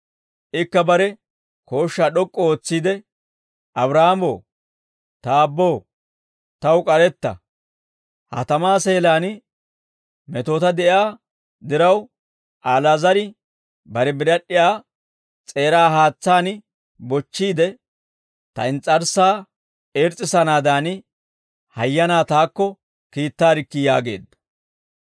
«Ikka bare kooshshaa d'ok'k'u ootsiide, ‹Abraahaamo, ta aabboo, taw k'aretta. Ha tamaa seelaan metoota de'iyaa diraw, Ali'aazar bare birad'd'iyaa s'eeraa haatsaan bochchiide, ta ins's'arssaa irs's'issanaadan hayyanaa taakko kiittaarikkii› yaageedda.